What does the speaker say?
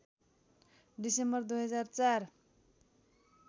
December २००४